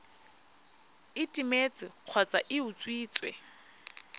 e timetse kgotsa e utswitswe